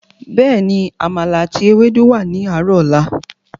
Bẹ́ẹ̀ni, àmàlà àti Ewédú wà ní àárò ọ̀la.